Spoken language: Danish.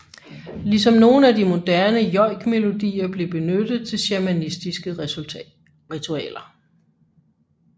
Ligesom nogle af de moderne joikmelodier blev benyttet til shamanistiske ritualer